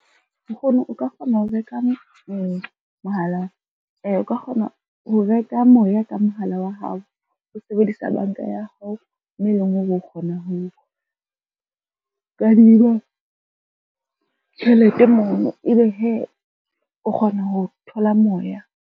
Nkgono o ka kgona ho reka moya ka mohala wa hao, o sebedisa banka ya hao, mo e leng hore o kgona ho o kadima tjhelete mono, e be hee o kgona ho thola moya.